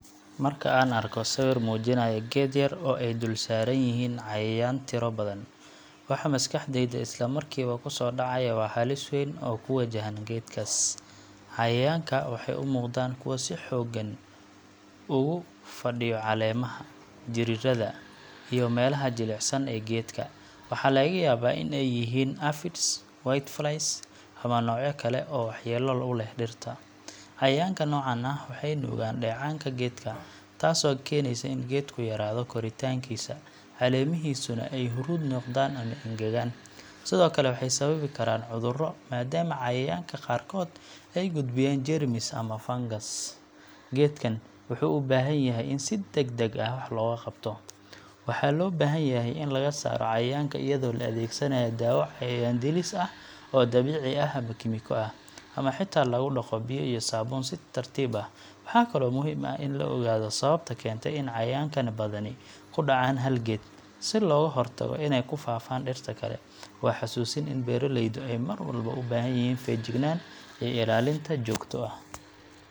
Marka aan arko sawir muujinaya geed yar oo ay dulsaaran yihiin cayayaan tiro badan, waxa maskaxdayda isla markiiba ku soo dhacaya waa halis weyn oo ku wajahan geedkaas. Cayayaanka waxay u muuqdaan kuwo si xooggan ugu fadhiyo caleemaha, jirridda, iyo meelaha jilicsan ee geedka. Waxaa laga yaabaa in ay yihiin aphids, whiteflies ama noocyo kale oo waxyeello u leh dhirta. Cayayaanka noocan ah waxay nuugaan dheecaanka geedka, taasoo keenaysa in geedku yaraado koritaankiisa, caleemihiisuna ay huruud noqdaan ama engegaan. Sidoo kale, waxay sababi karaan cudurro, maadaama cayayaanka qaarkood ay gudbiyaan jeermis ama fangas. Geedkan wuxuu u baahan yahay in si degdeg ah wax looga qabto – waxaa loo baahanyahay in laga saaro cayayaanka iyadoo la adeegsanayo dawo cayayaan-dilis ah oo dabiici ah ama kiimiko, ama xitaa lagu dhaqo biyo iyo saabuun si tartiib ah. Waxaa kaloo muhiim ah in la ogaado sababta keentay in cayayaankan badani ku dhacaan hal geed, si looga hortago inay ku faaftaan dhirta kale. Waa xusuusin in beeraleydu ay mar walba u baahan yihiin feejignaan iyo ilaalin joogto ah.